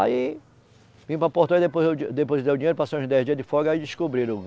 Aí, vim para Porto Velho, depois eu depositei o dinheiro, passei uns dez dias de folga, aí descobriram.